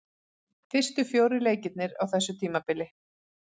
Fyrstu fjórir leikirnir á þessu tímabili.